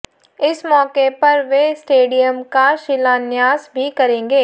इस मौके पर वे स्टेडियम का शिलान्यास भी करेंगे